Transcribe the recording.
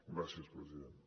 gràcies president